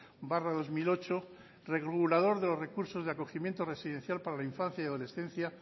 barra dos mil ocho regulador de los recursos de acogimiento residencial para la infancia y adolescencia